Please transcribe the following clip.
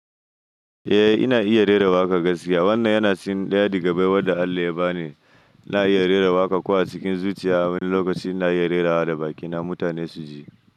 Eh ina iya rera waƙa gaskiya wannan yana cikin ɗaya daga cikin abubuwan da Allah ya ba ni. Ina iya rera waƙa ko a cikin zuciya. Wani lokaci ina iya rerawa da bakina mutane su ji.